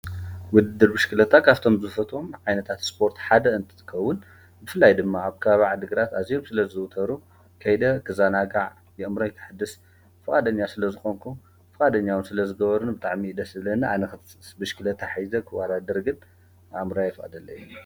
ውድድር ብሽክሊታ ካብቶም ዝፈትዎም ዓይነት ስፖርት ሓደ እትትከውን ብፍላይ ድማ ኣብ ከባቢ ዓዲ ግራት ኣዝዮም ስለዝዝውተሩ ከይደ ክዛናጋዕ ኣእምሮይ ከሕድስ ፍቃደኛ ስለዝኮንኩ ፍቃደኛ እውን ስለዝገበሩኒ ኣብ ብጣዕሚ እዩ ደስ ዝብለኒ ብሽክሌታ ሒዘ ክዋዳደር ግን ኣእምረይ ኣይፈቅደለይን እዩ።